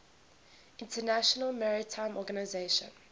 international maritime organization